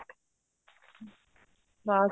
mask